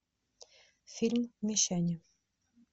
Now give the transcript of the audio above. фильм мещане